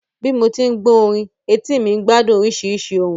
Bí mo tí ń gbọ́ orin, etí mi ń gbádùn oríṣiríṣi ohùn